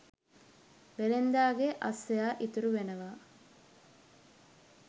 වෙළෙන්දාගේ අස්සයා ඉතුරු වෙනවා.